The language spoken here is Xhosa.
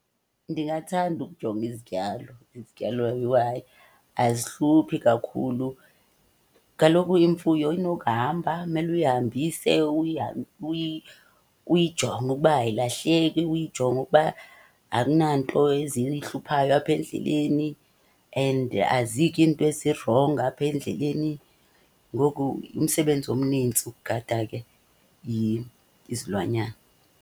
Ndingathanda ukujonga izityalo, izityalo yhu hayi azihluphi kakhulu. Kaloku imfuyo inokuhamba, mele uyihambise uyijonge ukuba ayilahleki. Uyijonge ukuba akunanto eziyihluphayo apha endleleni and azityi iinto ezirongo apha endleleni. Ngoku umsebenzi omnintsi ukugada ke izilwanyana.